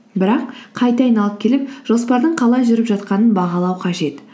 бірақ қайта айналып келіп жоспардың қалай жүріп жатқанын бағалау қажет